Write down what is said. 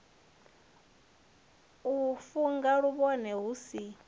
u funga mavhone hu si